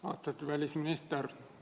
Austatud välisminister!